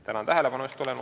Tänan tähelepanu eest!